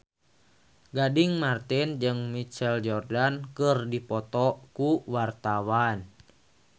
Gading Marten jeung Michael Jordan keur dipoto ku wartawan